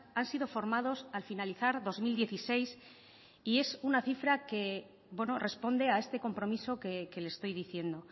han sido formados al finalizar dos mil dieciséis y es una cifra que responde a este compromiso que le estoy diciendo